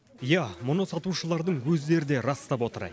иә мұны сатушылардың өздері де растап отыр